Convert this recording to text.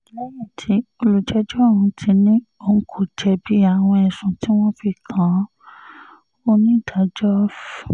lẹ́yìn tí olùjẹ́jọ́ ọ̀hún ti ní òun kò jẹ̀bi àwọn ẹ̀sùn tí wọ́n fi kàn án onídàájọ́ f